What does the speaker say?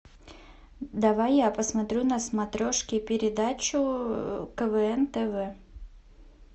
давай я посмотрю на смотрешке передачу квн тв